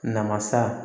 Namasa